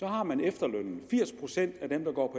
har man efterlønnen firs procent af dem der går